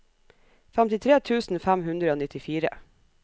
femtitre tusen fem hundre og nittifire